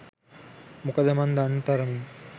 මොකද මං දන්න තරමින්